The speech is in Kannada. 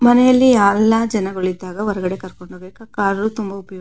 ಮನೆಯಲ್ಲಿ ಯಾವೆಲ್ಲ ಜನರು ಇದ್ದಾಗ ಹೊರಗಡೆ ಕರ್ಕೊಂಡು ಹೋಗ್ಬೇಕಾದ್ರೆ ಕಾರು ತುಂಬ ಉಪಯೋಗ --